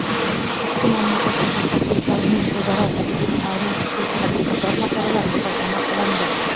ikki mamlakat mutaxassislarining o‘zaro tajriba almashishi kabi qator masalalar muhokama qilindi.